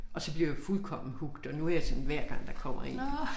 Og så blev jeg fuldkommen hooked og nu jeg sådan hver gang der kommer en